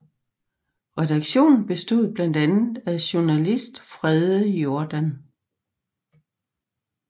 Redaktionen bestod blandt andet af Journalist Frede Jordan